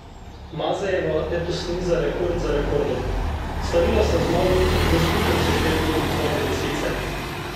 Mazejeva letos niza rekord za rekordom: "Slavila sem zmago tudi v skupnem seštevku Zlate lisice.